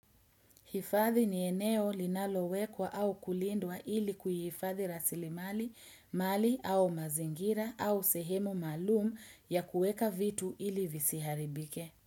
Hifathi ni eneo linalowekwa au kulindwa ili kuyifathi rasili mali, mali au mazingira au sehemu malum ya kueka vitu ili visiharibike.